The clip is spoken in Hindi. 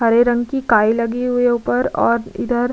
हरे रंग की काई लगी हुई है ऊपर और इधर --